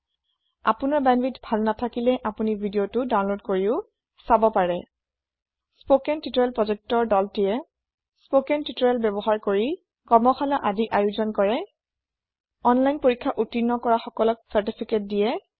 আপোনাৰ ভাল বেন্দ্বৱিথ নেথাকিলে আপোনি ভিদিঅ দাওনলদ কৰি চাব পাৰে স্পকেন তিউতৰিয়েল প্ৰজেক্ত তিমে কৰ্মশা্লা আয়োজন কৰে স্পকেন তিউতৰিয়েল ব্যৱহাৰ কৰি অনলাইন পৰীক্ষা উত্তিৰ্ণ কৰা সকলক চাৰ্তিফিকেত দিয়ে